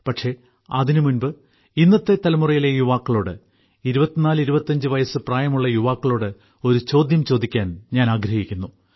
പക്ഷേ അതിനുമുമ്പ് ഇന്നത്തെ തലമുറയിലെ യുവാക്കളോട് 2425 വയസ് പ്രായമുള്ള യുവാക്കളോട് ഒരു ചോദ്യം ചോദിക്കാൻ ഞാൻ ആഗ്രഹിക്കുന്നു